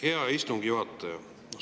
Hea istungi juhataja!